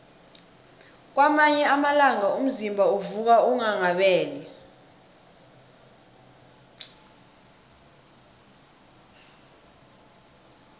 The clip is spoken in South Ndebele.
kwamanye amalanga umzimba uvuka unghanghabele